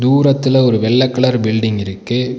தூரத்துல ஒரு வெள்ள கலர் பில்டிங் இருக்கு.